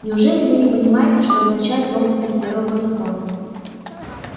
неужели вы не понимаете что означает робот без первого закона